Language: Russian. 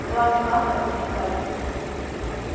кроме вас как мне кажется